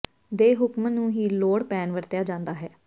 ਦੇ ਹੁਕਮ ਨੂੰ ਹੀ ਲੋੜ ਪੈਣ ਵਰਤਿਆ ਜਾਦਾ ਹੈ